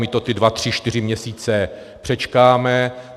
My to ty dva tři čtyři měsíce přečkáme.